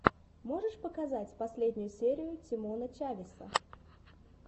можешь показать последнюю серию тимона чавеса